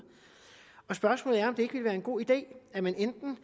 og spørgsmålet er om det ikke vil være en god idé at man enten